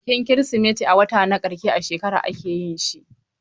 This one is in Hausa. Bikin Kirsimeti a wata na ƙarshe a shekara ake yin shi.